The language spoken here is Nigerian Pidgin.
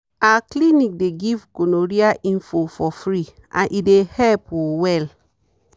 our clinic dey give gonorrhea info for free and e dey help um well.